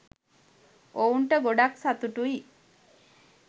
ඔවුන්ට ගොඩක් සතුටුයි.